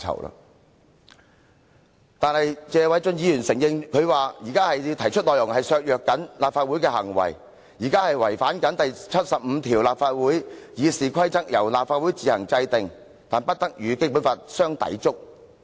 可是，正如謝偉俊議員所說，他們提出的修訂內容是會削弱立法會，同時亦違反《基本法》第七十五條第二款，即"立法會議事規則由立法會自行制定，但不得與本法相抵觸。